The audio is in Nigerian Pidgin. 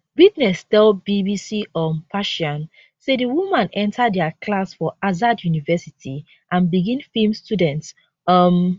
witness tell bbc um persian say di woman enta dia class for azad university and begin feem students um